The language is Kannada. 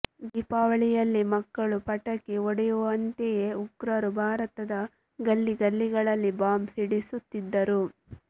ದೀಪಾವಳಿಯಲ್ಲಿ ಮಕ್ಕಳು ಪಟಾಕಿ ಒಡೆಯುವಂತೆಯೇ ಉಗ್ರರು ಭಾರತದ ಗಲ್ಲಿ ಗಲ್ಲಿಗಳಲ್ಲಿ ಬಾಂಬ್ ಸಿಡಿಸುತ್ತಿದ್ದರು